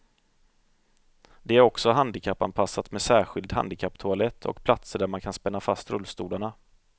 Det är också handikappanpassat med särskild handikapptoalett och platser där man kan spänna fast rullstolarna.